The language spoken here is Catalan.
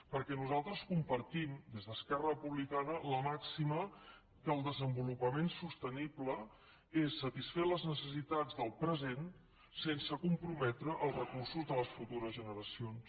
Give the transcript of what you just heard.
perquè nosaltres compartim des d’esquerra republicana la màxima que el desenvolupament sostenible és satisfer les necessitats del present sense comprometre els recursos de les futures generacions